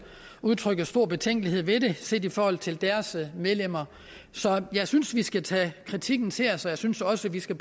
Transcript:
udtrykker stor betænkelighed ved det set i forhold til deres medlemmer så jeg synes vi skal tage kritikken til os og jeg synes også vi skal